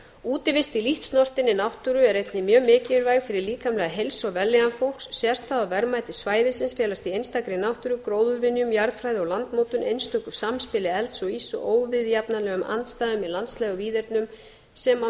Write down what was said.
útivist í lítt sprottinni náttúru er einnig mjög mikilvæg fyrir líkamlega heilsu og vellíðan fólks sérstaða og verðmæti svæðisins felast í einstakri náttúru gróðurvinjum jarðfræði og landnotum einstök samspili elds og íss og óviðjafnanlegum andstæðum í landslagi og víðernum sem af